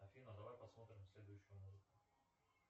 афина давай посмотрим следующую музыку